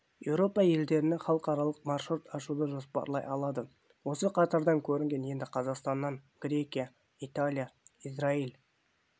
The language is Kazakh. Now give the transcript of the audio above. еуропа елдеріне халықаралық маршрут ашуды жоспарлай алады осы қатардан көрінген енді қазақстаннан грекия италия израиль